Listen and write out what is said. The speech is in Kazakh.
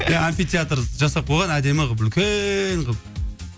иә амфитеатр жасап қойған әдемі қылып үлкен қылып